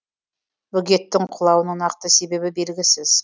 бөгеттің құлауының нақты себебі белгісіз